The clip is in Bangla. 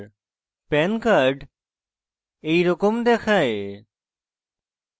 pan card এইরকম দেখায়